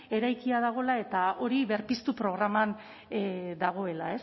eraikia dagoela eta hori berpiztu programan dagoela